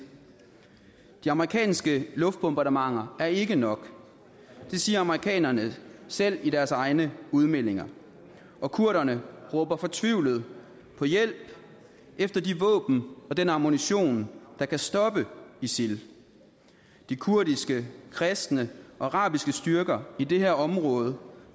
de amerikanske luftbombardementer er ikke nok det siger amerikanerne selv i deres egne udmeldinger og kurderne råber fortvivlet på hjælp efter de våben og den ammunition der kan stoppe isil de kurdiske kristne og arabiske styrker i det her område